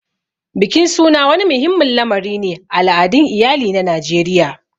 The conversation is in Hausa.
Bikin suna wani muhimmin lamari ne a al'adun iyali na Najeriya.